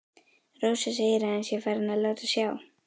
Rósa segir að hann sé farinn að láta á sjá.